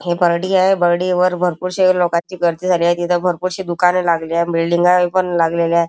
हे बर्डी आहे बर्डी वर भरपुर शे लोकाची गर्दी झाली आहे तिथ भरपुर अशी दुकान लागले बिल्डिंगा य पण लागलेल्या आहे.